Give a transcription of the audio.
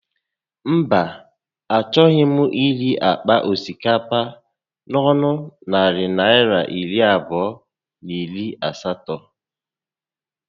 Mba, a choghị m ire àkpà osikapa a n'ọnụ narị Naịra iri abụọ na iri asatọ